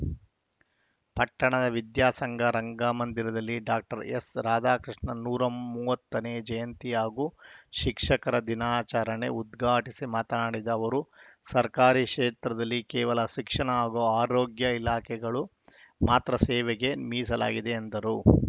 ಪಟ್ಟಣದ ವಿದ್ಯಾ ಸಂಘ ರಂಗಮಂದಿರದಲ್ಲಿ ಡಾಕ್ಟರ್ ಎಸ್‌ ರಾಧಾಕೃಷ್ಣನ್‌ ನೂರ ಮೂವತ್ತನೇ ಜಯಂತಿ ಹಾಗೂ ಶಿಕ್ಷಕರ ದಿನಾಚರಣೆ ಉದ್ಘಾಟಿಸಿ ಮಾತನಾಡಿದ ಅವರು ಸರ್ಕಾರಿ ಕ್ಷೇತ್ರದಲ್ಲಿ ಕೇವಲ ಶಿಕ್ಷಣ ಹಾಗೂ ಆರೋಗ್ಯ ಇಲಾಖೆಗಳು ಮಾತ್ರ ಸೇವೆಗೆ ಮೀಸಲಾಗಿದೆ ಎಂದರು